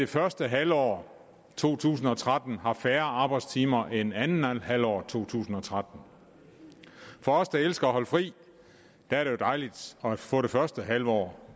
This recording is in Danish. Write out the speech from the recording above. første halvår to tusind og tretten har færre arbejdstimer end anden halvår to tusind og tretten for os der elsker at holde fri er det jo dejligt at få det første halvår